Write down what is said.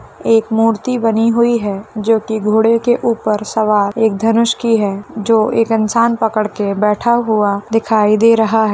एक मूर्ति बनी हुई है जो कि घोड़े के ऊपर सवार एक धनुष की है जो एक इन्सान पकड़ के बैठा हुआ दिखाई दे रहा है।